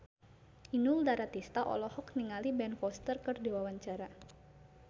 Inul Daratista olohok ningali Ben Foster keur diwawancara